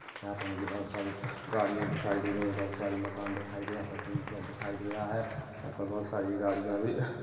यहाँ पर मुझे बहोत सारी गाड़ियां दिखाई दे रही हैं बहुत सारे मकान दिखाई दिए-- यहाँ पर टिन शेड दिखाइ दे रहा है यहाँ पर बहुत सारी गाड़ियाँ भी--